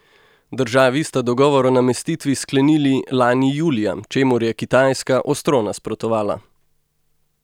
Državi sta dogovor o namestitvi sklenili lani julija, čemur je Kitajska ostro nasprotovala.